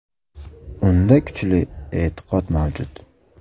Unda kuchli e’tiqod mavjud.